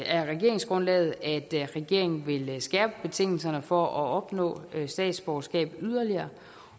af regeringsgrundlaget at regeringen vil skærpe betingelserne for at opnå statsborgerskab yderligere